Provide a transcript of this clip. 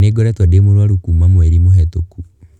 Nĩ ngoretwo ndĩmũrũarũ kuuma mweri mũhetũku.